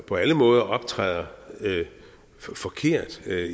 på alle måder optræder forkert med